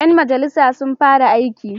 Ƴan majalisa sun fara aiki.